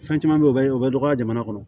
Fɛn caman bɛ yen o bɛ o bɛ dɔgɔya jamana kɔnɔ